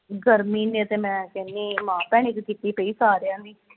ਗਰਮੀ ਨੇ ਤੇ ਮੈਂ ਕਹਿਨੀ ਮਾਂ ਭੈਣ ਇਕ ਕੀਤੀ ਪਈ ਸਾਰਿਆਂ ਦੀ